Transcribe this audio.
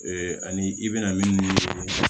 ani i bɛna minnu